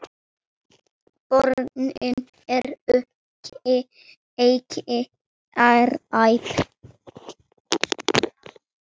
Börnin eru ekki hrædd.